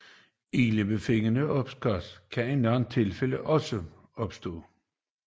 Ildebefindende og opkastning kan i nogen tilfælde også opstå